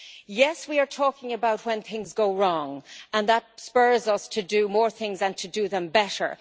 Yes, we are talking about when things go wrong, and that spurs us to do more things, and to do them better.